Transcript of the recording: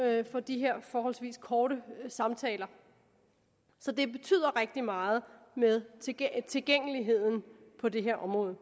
at få de her forholdsvis korte samtaler så det betyder rigtig meget med tilgængeligheden på det her område